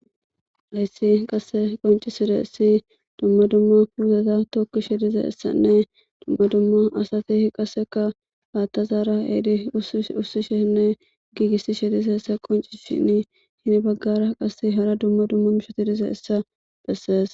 Lahyssi qasse qonciside essi dumma dumma puugeta tokki shidize essanne dumma dumma asati qasseka haattazaara eedi usishinne giigissi shidize essa qoncishin hini baggara qasse hara dumma dumma bishotidize essa bessees.